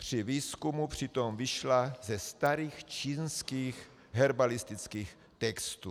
Při výzkumu přitom vyšla ze starých čínských herbalistických textů.